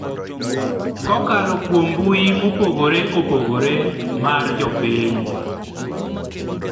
kokalo kuom mbui mopogore opogore mar jopiny,